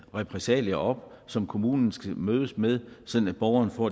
repressalier op som kommunen skal mødes med sådan at borgeren får